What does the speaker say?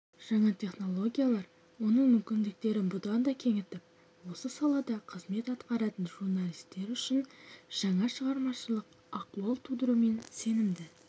жаңа технологиялар оның мүмкіндіктерін бұдан да кеңітіп осы салада қызмет атқаратын журналистер үшін жаңа шығармашылық ахуал тудыруымен сенімді